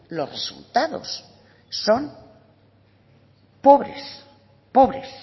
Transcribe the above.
los resultados son pobres pobres